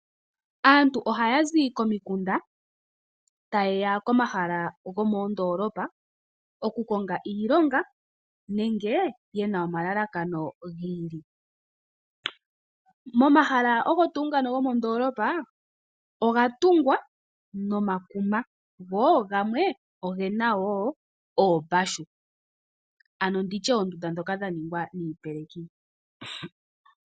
Aantu ohaya zi komikunda taye ya komahala moondolopa, okukonga iilonga nenge yena omalalakano gi ili. Momahala ogo tuu ngano gomondolopa oga tungwa nomakuma, go gamwe ogena wo oombashu ano nditye oondunda dhoka dha ningwa niipeleki.